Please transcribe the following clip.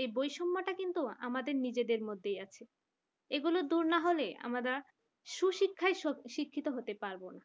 এই বৈষম্যটা কিন্তু আমাদের নিজের মধ্যেই আছে এগুলো দূর না হলে আমরা সুশিক্ষায় শিক্ষিত হতে পারব না।